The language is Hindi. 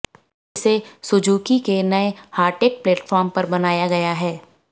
इसे सुजुकी के नए हार्टेक्ट प्लेटफॉर्म पर बनाया गया है